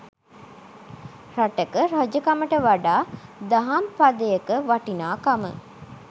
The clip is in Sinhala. රටක රජකමට වඩා දහම් පදයක වටිනාකම